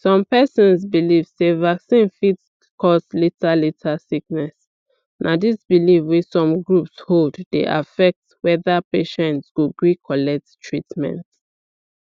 some persons believe sey vaccine fit cause later later sickness na this belief wey some groups hold dey affect whether patients go gree collect treatment